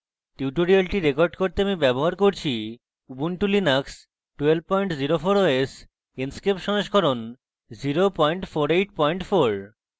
tutorial record করতে আমি ব্যবহার করছি